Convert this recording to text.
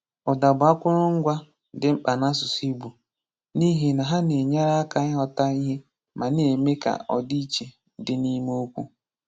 Ụda bụ akụrụngwa dị mkpa n’asụsụ Igbo, n’ihi na ha na-enyere aka ịghọta ihe ma na-eme ka ọdịiche dị n’ime okwu.